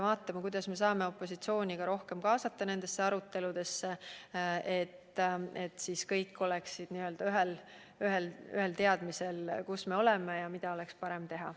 Vaatame, kuidas me saame ka opositsiooni rohkem kaasata nendesse aruteludesse, et kõik oleksid ühel teadmisel, mis seisus me oleme ja mida oleks parem teha.